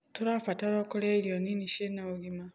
Tũrabatarwo kũrĩa irio nini ciĩna ũgima